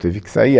Teve que sair.